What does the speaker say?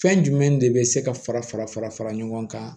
Fɛn jumɛn de bɛ se ka fara fara fara fara ɲɔgɔn kan